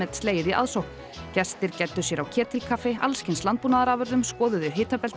slegið í aðsókn gestir gæddu sér á ketilkaffi alls kyns landbúnaðarafurðum skoðuðu